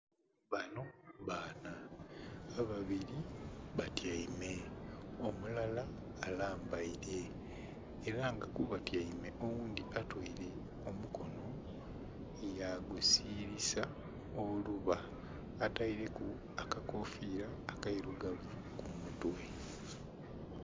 Abanho baana, ababiri batyeime omulala alambeire era nga kubatyeime oghundhi atweele omukono yagusilisa oluba ateleku akakofiira akeilugavu kumutwe.